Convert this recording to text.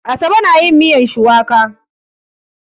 Asabe na yin miyan shuwaka.